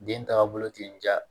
Den tagabolo tɛ n ja